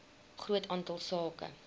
groot aantal sake